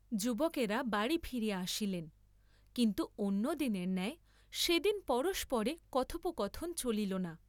যুবকেরা বাড়ী ফিরিয়া আসিলেন, কিন্তু অন্য দিনের ন্যায় সে দিন পরস্পরে কথোপকথন চলিল না।